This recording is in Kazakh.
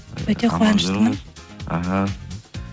өте қуаныштымын іхі